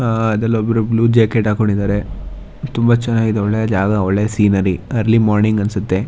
ಅಅ ಇದ್ರಲ್ಲಿ ಒಬ್ರೂ ಬ್ಲೂ ಜಾಕೆಟ್ ಹಕೊಂಡಿದಾರೆ ತುಂಬಾ ಚನಾಗಿದೆ ಒಳ್ಳೆ ಜಾಗ ಒಳ್ಳೆ ಸೀನರಿ ಅರ್ಲಿ ಮಾರ್ನಿಂಗ್ ಅನ್ಸತ್ತೆ.